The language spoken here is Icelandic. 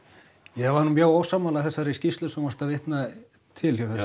ég var nú mjög ósammála þessari skýrslu sem þú varst að vitna til hjá